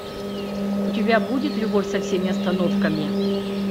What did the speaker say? у тебя будет любовь со всеми остановками